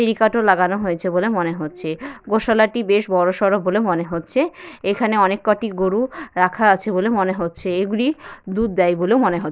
সিরিকাট লাগানো হয়েছে বলে মনে হচ্ছে। গোসালা টি বেশ বড়ো সড়ো বলে মনে হচ্ছে। এখানে অনেকগুলি গরু রাখা হয়েছে বলে মনে হচ্ছে। এগুলি দূধ দেয় বলে মনে হচ --